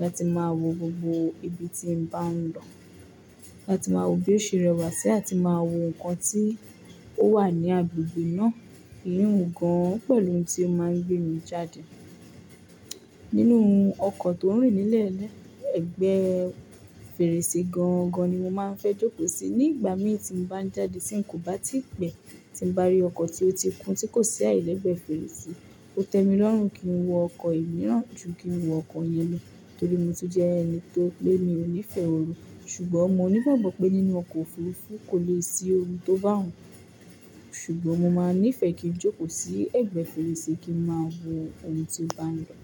láti máa wo gbogbo ibi tí mo bá ń lọ, láti máa wo bí ó ṣe rẹwà sí àti máa wo nǹkan tí ó wà ní agbègbè náà, ìyun gan-an o pẹ̀lú ohun tí ó máa ń gbé mi jáde. Nínú ọkọ̀ tó ń rìn nílẹ̀ lee, ẹ̀gbẹ́ fèrèsé gan-an gan-an ni mo máa ń fẹ́ jókòó sí ní ìgbà mí tí mo bá ń jáde tí n kò bá tí pẹ̀ tí n bá rí ọkọ̀ tí ó ti kún tí kò sí ààyè lẹ́gbẹ̀ẹ́ fèrèsé. Ó tẹ mi lọ́run kí n wọ ọkọ̀ ìmíràn ju kí n wọ ọkọ̀ yen lo, torí mo ti jẹ́ ẹni tó pé mi ò nífẹ̀ẹ́ ooru, ṣùgbọ́n mo ní ìgbàgbọ́ pé nínú ọkọ̀ òfurufú kò lè sí ooru tó bá hàn, ṣùgbọ́n mo máa nífẹ̀ẹ́ kí n jókòó sí ẹ̀gbẹ́ fèrèsé kí ń máa wo ohun tí ó bá ń lọ.